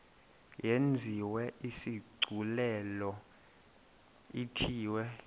yenziwe isigculelo ithiwe